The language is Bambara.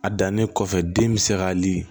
A dannen kɔfɛ den mi se ka ni